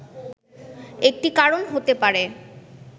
একটি কারণ হতে পারে